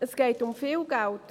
Es geht um viel Geld.